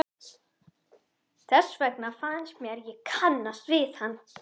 Þess vegna fannst mér ég kannast við hann.